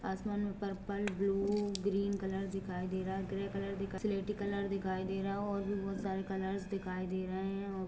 असमान में purple blue green colour दिखाई दे रहा है हैग्रे कलर सिलेटी कलर दिखाई दे रहा है और भी बहुत सारा कलर दिखाई दे रहा है।